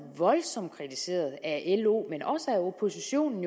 voldsomt kritiseret af lo men også af oppositionen